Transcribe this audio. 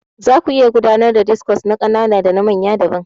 Zaku iya gudanar da discos na ƙanana dana manya daban.